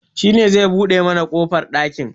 Shi ne zai buɗe mana kofar ɗakin